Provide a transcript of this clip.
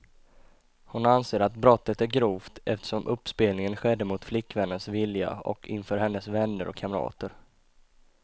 Hon anser att brottet är grovt, eftersom uppspelningen skedde mot flickvännens vilja och inför hennes vänner och kamrater.